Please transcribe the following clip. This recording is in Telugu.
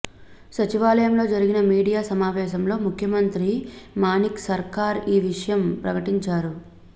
సచివాలయంలో జరిగిన మీడియా సమావేశంలో ముఖ్యమంత్రి మాణిక్ సర్కార్ ఈ విషయాన్ని ప్రకటించారు